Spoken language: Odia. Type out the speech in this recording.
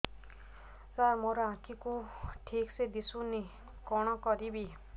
ସାର ମୋର ଆଖି କୁ ଠିକସେ ଦିଶୁନି କଣ କରିବି